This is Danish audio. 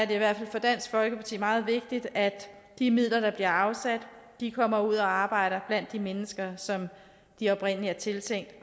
i hvert fald for dansk folkeparti meget vigtigt at de midler der bliver afsat kommer ud at arbejde blandt de mennesker som de oprindelig er tiltænkt